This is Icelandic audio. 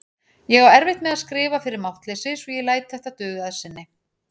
Ég á erfitt með að skrifa fyrir máttleysi svo ég læt þetta duga að sinni.